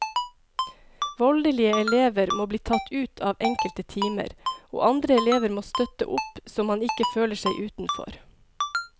Voldelige elever må bli tatt ut av enkelte timer, og andre elever må støtte opp så man ikke føler seg utenfor.